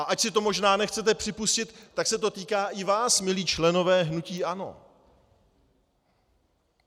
A ač si to možná nechcete připustit, tak se to týká i vás, milí členové hnutí ANO.